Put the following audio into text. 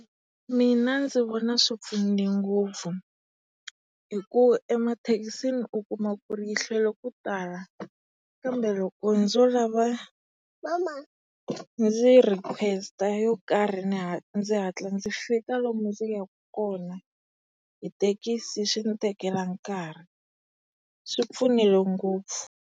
Mina ndzi vona swipfunile ngopfu hi ku emathekisisni u kuma ku ri yi hlwela ku tala kambe loko ndzo lava ndzi request yo karhi ndzi hatla ndzi fika lomu ndzi yaka kona. Hi thekisi swi ndzi tekela nkarhi. Swi pfunile ngopfu.